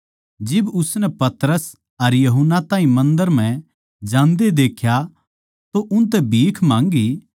जिब उसनै पतरस अर यूहन्ना ताहीं मन्दर म्ह जान्दे देख्या तो उनतै भीख माँगी